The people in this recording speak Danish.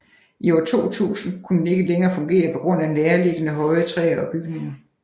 I år 2000 kunne den ikke længere fungere på grund af nærliggende høje træer og bygninger